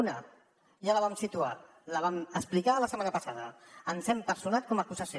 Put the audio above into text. una ja la vam situar la vam explicar la setmana passada ens hem personat com a acusació